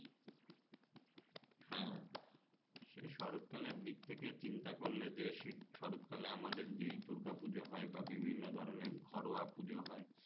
হ্যাঁ সে শরৎ কালের দিক থেকে চিন্তা করলে যে শীত শরৎ কালে আমাদের যেই দূর্গা পুজো হয় বা বিভিন্ন ধরনের ঘরোয়া পুজো হয়